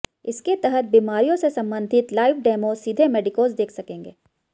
इसके तहत बीमारियों से संबंधित लाइव डेमो सीधे मेडिकोज देख सकेंगे